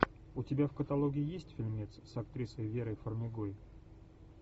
у тебя в каталоге есть фильмец с актрисой верой фармигой